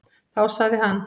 Þá sagði hann: